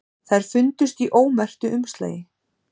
Þær fundust í ómerktu umslagi